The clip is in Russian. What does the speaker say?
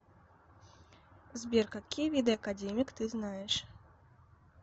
сбер какие виды академик ты знаешь